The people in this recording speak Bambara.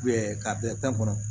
ka bɛn pan kɔnɔ